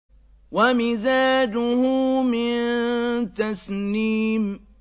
وَمِزَاجُهُ مِن تَسْنِيمٍ